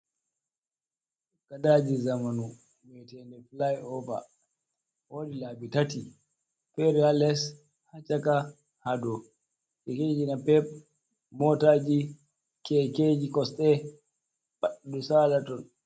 Gadaji zamanu ɓiaiten de fly over wodi labi tati fere ha les, Ha caka, ha dou, kekeji napep, motaji, kekeji kosɗe pat ɗo sala ton.